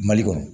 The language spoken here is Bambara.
Mali kɔnɔ